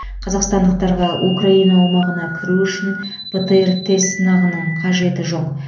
қазақстандықтарға украина аумағына кіру үшін птр тест сынағының қажеті жоқ